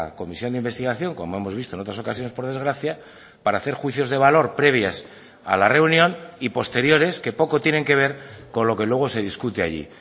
comisión de investigación como hemos visto en otras ocasiones por desgracia para hacer juicios de valor previas a la reunión y posteriores que poco tienen que ver con lo que luego se discute allí